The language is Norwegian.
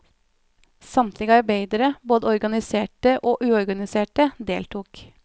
Samtlige arbeidere, både organiserte og uorganiserte, deltok.